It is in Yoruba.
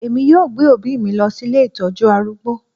Èmi yóò gbé òbí mi lọ sí ilé ìtọ́jú arúgbó